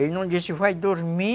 Ele não disse, vai dormir,